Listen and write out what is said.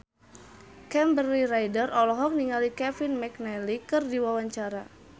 Kimberly Ryder olohok ningali Kevin McNally keur diwawancara